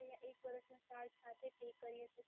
યા એક વરસનો ચાર્જ સાથે પે કરીએ તો?